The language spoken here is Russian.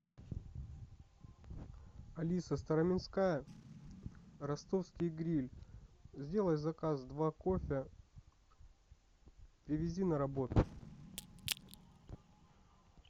алиса староминская ростовский гриль сделай заказ два кофе привези на работу